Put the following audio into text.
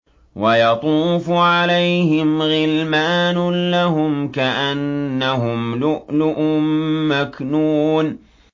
۞ وَيَطُوفُ عَلَيْهِمْ غِلْمَانٌ لَّهُمْ كَأَنَّهُمْ لُؤْلُؤٌ مَّكْنُونٌ